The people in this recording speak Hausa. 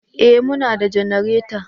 Eh muna da janareta